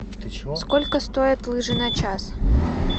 сколько стоят лыжи на час